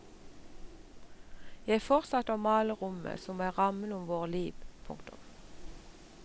Jeg fortsatte å male rommet som er rammen om våre liv. punktum